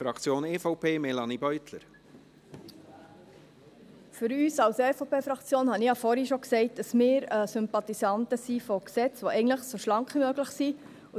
Für uns als EVP-Fraktion habe ich vorhin schon gesagt, dass wir Sympathisanten sind von Gesetzen, die so schlank wie möglich sind.